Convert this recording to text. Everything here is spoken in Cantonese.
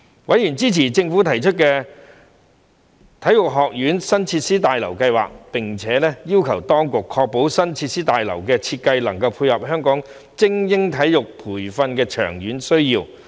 委員支持政府提出的體育學院新設施大樓計劃，並要求當局確保新設施大樓的設計能配合香港精英體育培訓的長遠需要。